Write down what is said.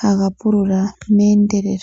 ha ga pulula meendelelo.